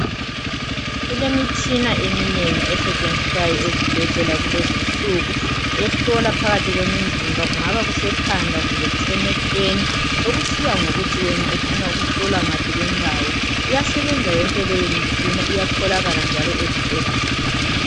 Kulemitshina eminengi esetshenziswayo ezibhedlela kulezinsiku ehlola phakathi wemizimba kungaba phakathi kwekhanda kumbe emehlweni sokusiya ngokuthi wena ufuna ukuhlowa ngaphi kwendawo iyasebenza yonke leyo mitshina iyatholakala njalo ezibhedlela.